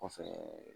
Kɔfɛɛ